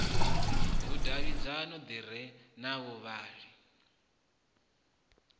vhudavhidzano ḓi re na vhavhali